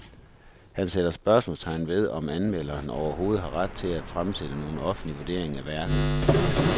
Han sætter spørgsmålstegn ved, om anmelderen overhovedet har ret til at fremsætte nogen offentlig vurdering af værket.